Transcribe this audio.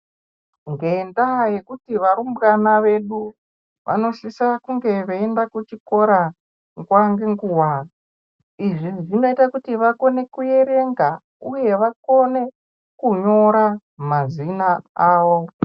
Ngendaa yekuti varumbwana vedu vanosisa kunge veyienda kuchikora nguwa ngenguwa, Izvi zvinoite kuti vakone kuerenga uye vakone kunyora mazina awo.